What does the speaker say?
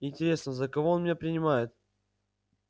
интересно за кого он меня принимает